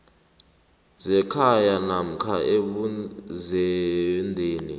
zekhaya namkha ebuzendeni